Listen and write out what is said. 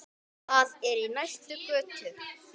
Það er í næstu götu.